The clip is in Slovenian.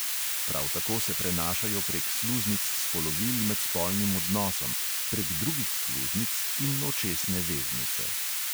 Prav tako se prenašajo prek sluznic spolovil med spolnim odnosom, prek drugih sluznic in očesne veznice.